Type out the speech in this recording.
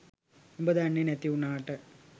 උබ දන්නෙ නැති උනාට